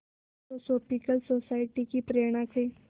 theosophical society की प्रेरणा से